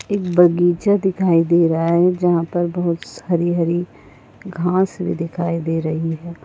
एक बगीचा दिखाई दे रहा है जहा पर बहुत सारी हरी घास भी दिखाई दे रही है।